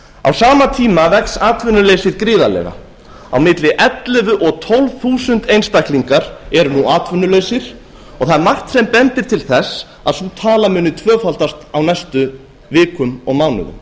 á sama tíma vex atvinnuleysi gríðarlega á milli ellefu og tólf þúsund einstaklingar eru nú atvinnulausir og það er margt sem bendir til þess að sú tala muni tvöfaldast á næstu vikum og mánuðum